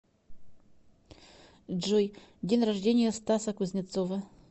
джой день рождения стаса кузнецова